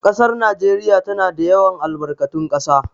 Ƙasar Najeriya tana da yawan albarkatun ƙasa